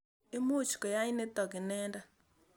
Imuch koyai nitok inendet.